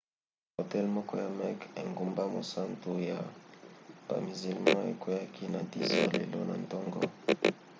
hotel moko ya mecque engumba mosantu ya bamizilma ekweaki na 10 h lelo na ntongo